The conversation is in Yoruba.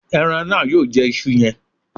Ẹran náà yóò jẹ isu yẹn